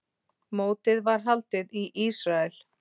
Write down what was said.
Mótið var haldið í Ísrael.